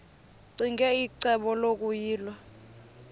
ccinge icebo lokuyilwa